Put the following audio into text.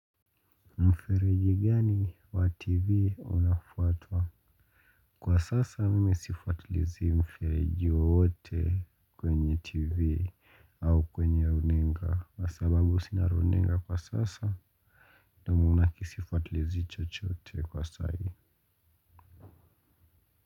Mfereji gani wa TV unafatwa? Kwa sasa mimi sifatulizi mfereji wowote kwenye TV au kwenye runinga. Wasababu sina runinga kwa sasa, na sifuatulizi chochote kwa sahii.